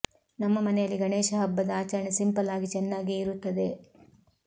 ನಮ್ಮ ಮನೆಯಲ್ಲಿ ಗಣೇಶ ಹಬ್ಬದ ಆಚರಣೆ ಸಿಂಪಲ್ ಆಗಿ ಚೆನ್ನಾಗಿಯೇ ಇರುತ್ತದೆ